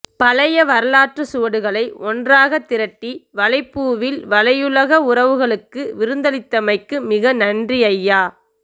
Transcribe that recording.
பழைய வரலாற்று சுவடுகளை ஒன்றாக திரட்டி வலைப்பூவில் வலையுலக உறவுகளுக்கு விருந்தளித்தமைக்கு மிக நன்றி ஐயா